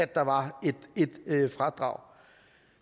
der var et fradrag